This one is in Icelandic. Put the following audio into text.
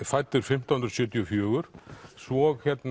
fæddur fimmtán hundruð sjötíu og fjögur svo